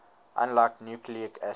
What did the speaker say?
unlike nucleic acids